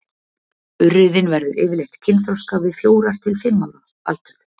urriðinn verður yfirleitt kynþroska við fjórir til fimm ára aldur